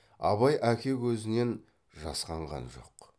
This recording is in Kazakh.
абай әке көзінен жасқанған жоқ